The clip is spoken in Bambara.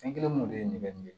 Fɛn kelen mun de ye nɛgɛ